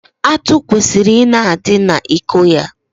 Atụ kwesịrị ị na-adị n'iko ya.